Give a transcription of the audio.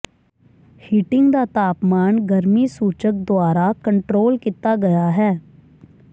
heating ਦਾ ਤਾਪਮਾਨ ਗਰਮੀ ਸੂਚਕ ਦੁਆਰਾ ਕੰਟਰੋਲ ਕੀਤਾ ਗਿਆ ਹੈ